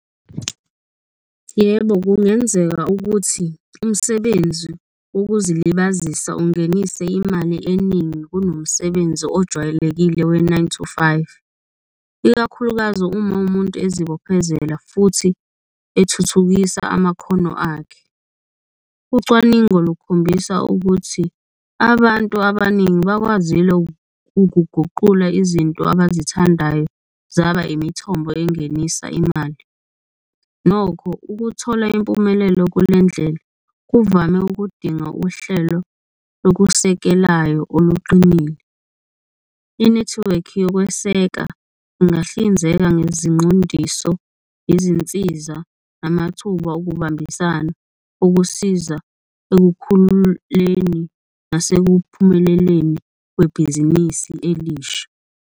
Yebo, kungenzeka ukuthi umsebenzi wokuzilibazisa ungenise imali eningi kunomsebenzi ojwayelekile we-nine to five, ikakhulukazi uma umuntu ezibophezela futhi ethuthukisa amakhono akhe. Ucwaningo lukhombisa ukuthi abantu abaningi bakwazile ukuguqula izinto abazithandayo zaba imithombo engenisa imali, nokho ukuthola impumelelo kule ndlela kuvame ukudinga uhlelo lokusekelayo oluqinile. Inethiwekhi yokweseka ingahlinzeka ngezinqondiso, izinsiza, amathuba okubambisana okusiza ekukhululeni nasekuphumeleleni kwebhizinisi elisha.